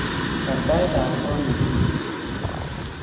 Baar taitab koot negirue